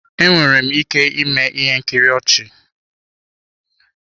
Enwere m ike ịme ihe nkiri ọchị.